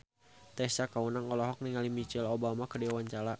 Tessa Kaunang olohok ningali Michelle Obama keur diwawancara